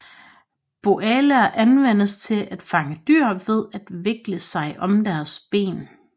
Bolaer anvendes til at fange dyr ved at vikle sig om deres ben